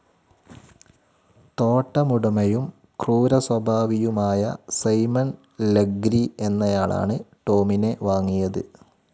തോട്ടമുടമയും ക്രൂരസ്വഭാവിയുമായ Simon Legree എന്നയാളാണ് Tom വാങ്ങിയതു.